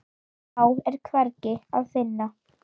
Þá er hvergi að finna.